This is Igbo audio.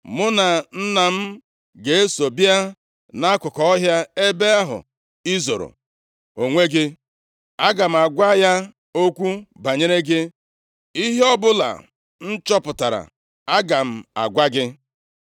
Mụ na nna m ga-eso bịa nʼakụkụ ọhịa ebe ahụ i zoro onwe gị. Aga m agwa ya okwu banyere gị. Ihe ọbụla m chọpụtara, aga m agwa gị.”